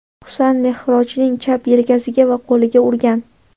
Husan Mehrojning chap yelkasiga va qo‘liga urgan.